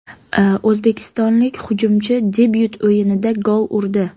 O‘zbekistonlik hujumchi debyut o‘yinida gol urdi.